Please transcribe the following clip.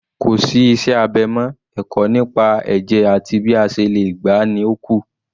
Kò sí iṣẹ́ abẹ mọ́, ẹ̀kọ́ nípa ẹ̀jẹ̀ àti bí a ṣe lè gbà á ni ó kù